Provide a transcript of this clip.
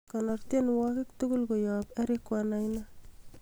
konor tienwogik tugul koyon eric wainaina